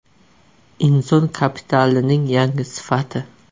Inson kapitalining yangi sifati.